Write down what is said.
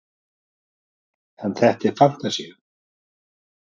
En þetta er fantasía.